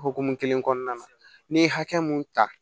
Hokumu kelen kɔnɔna na n'i ye hakɛ mun ta